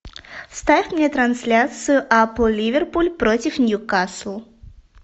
ставь мне трансляцию апл ливерпуль против ньюкасл